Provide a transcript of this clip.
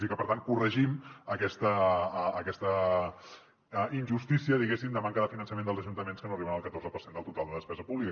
i que per tant corregim aquesta injustícia diguéssim de manca de finançament dels ajuntaments que no arriben al catorze per cent del total de despesa pública